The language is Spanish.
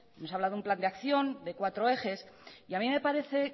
nos ha hablado de un plan de acción de cuatro ejes y a mí me parece